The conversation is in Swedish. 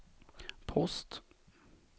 post